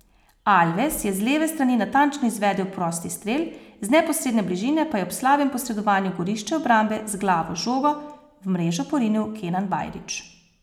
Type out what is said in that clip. Alves je z leve strani natančno izvedel prosti strel, z neposredne bližine pa je ob slabem posredovanju gorišče obrambe z glavo žogo v mrežo porinil Kenan Bajrić.